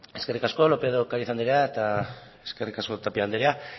eskerrik asko lópez de ocariz anderea eta eskerrik asko tapia andrea